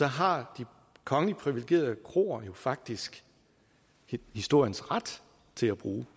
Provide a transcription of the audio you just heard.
har de kongeligt privilegerede kroer jo faktisk historiens ret til at bruge den